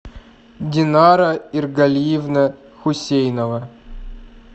динара иргалиевна хусейнова